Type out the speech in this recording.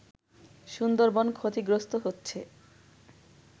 সুন্দরবন ক্ষতিগ্রস্ত হচ্ছে